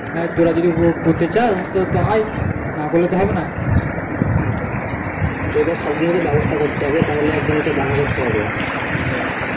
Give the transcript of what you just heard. হ্যাঁ তোরা যদি করতে চাষ তো আই না করলে তো হবে না এবার সবকিছু তো ব্যাবস্তা করতে হবে তাহলে এক দিন কে দেখা করতে হবে মানে